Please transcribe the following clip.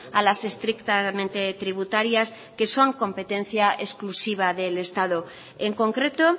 a las estrictamente tributarias que son competencia exclusiva del estado en concreto